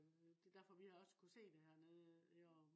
øh det derfor vi også har kunnet se det hernede i år